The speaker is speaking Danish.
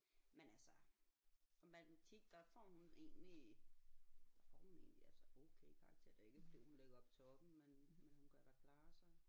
Men altså og matematik der får hun egentlig der får hun egentlig altså okay karakterer det er ikke fordi hun ligger oppe i toppen men hun kan da klare sig